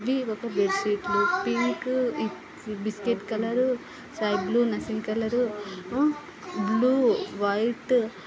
bed sheet లు pink biscuit colour లు sky blue నశింగ కలర్ ఆ బ్ల్యూ వైట్ --